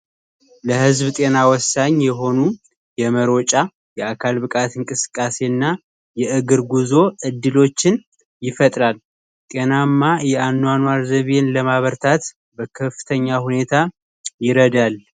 ለህዝብ ጤና ወሳኝ የሆኑ የመሮጫ የአካል ብቃት እንቅስቃሴና የእግር ጉዞ ዕድሎችን ይፈጥ ናማ የአኗኗር ዘቢ ለማበርታት በከፍተኛ ሁኔታ ይረዳል